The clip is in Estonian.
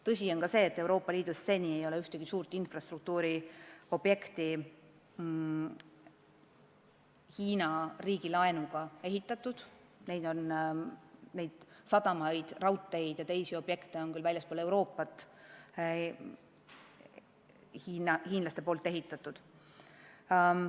Tõsi on see, et Euroopa Liidus ei ole seni ühtegi suurt infrastruktuuriobjekti Hiina riigi laenuga ehitatud, samas on sadamaid, raudteid ja teisi objekte väljaspool Euroopat hiinlased ehitanud küll.